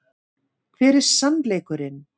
Hver er SANNLEIKURINN?